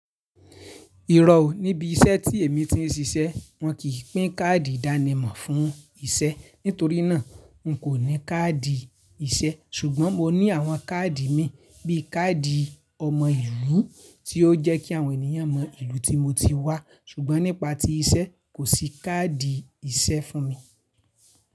Irọ́ o, níbi iṣẹ́ tí èmi ti ń ṣiṣẹ́ wọn kìí pín káàdì ìdánimọ̀ fún iṣẹ́. Nítorí náà n kò ní káàdì iṣẹ́ ṣùgbọ́n mo ní àwọn káàdì mi bíi káàdì ọmọ ìlú tí ó jẹ́ kí àwọn ènìyàn mọ ìlú tí mo ti wá. Ṣùgbọ́n nípa tí iṣẹ́ kò sí káàdì iṣẹ́ fún mi.